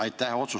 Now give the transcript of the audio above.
Aitäh!